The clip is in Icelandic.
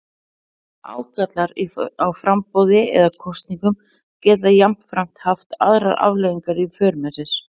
Ágallar á framboði eða kosningum geta jafnframt haft aðrar afleiðingar í för með sér.